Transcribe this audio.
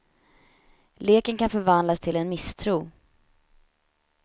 Leken kan förvandlas till en misstro.